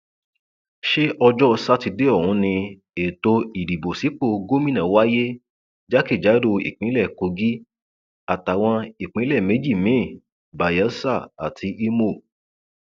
ṣé ọjọ sátidé ọhún ni ètò ìdìbò sípò gómìnà wáyé jákèjádò ìpínlẹ kogi àtàwọn ìpínlẹ méjì mìín bayelsa àti ìmọ